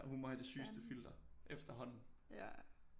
Hun må have det sygeste filter efterhånden